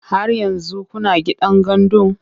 Har yanzu kuna gidan gandun?